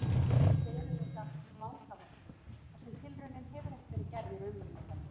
Þetta eru auðvitað allt vangaveltur þar sem tilraunin hefur ekki verið gerð í raunveruleikanum.